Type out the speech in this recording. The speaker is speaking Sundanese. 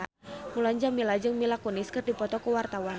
Mulan Jameela jeung Mila Kunis keur dipoto ku wartawan